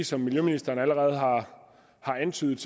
som miljøministeren allerede har antydet